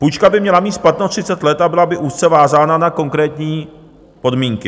Půjčka by měla mít splatnost 30 let a byla by úzce vázána na konkrétní podmínky.